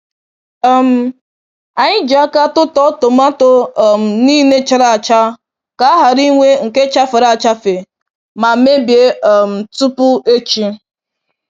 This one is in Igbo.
um Anyị ji aka tụtụọ tomato um niile chara acha ka a ghara inwe nke chafere achafe ma mebie um tupu echi.